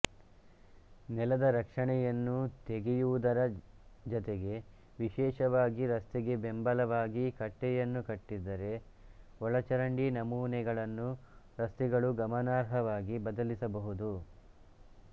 ನೆಲದರಕ್ಷಣೆಯನ್ನು ತೆಗೆಯುವುದರ ಜತೆಗೆವಿಶೇಷವಾಗಿ ರಸ್ತೆಗೆ ಬೆಂಬಲವಾಗಿ ಕಟ್ಟೆಯನ್ನು ಕಟ್ಟಿದ್ದರೆ ಒಳಚರಂಡಿ ನಮೂನೆಗಳನ್ನು ರಸ್ತೆಗಳು ಗಮನಾರ್ಹವಾಗಿ ಬದಲಿಸಬಹುದು